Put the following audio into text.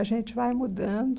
A gente vai mudando.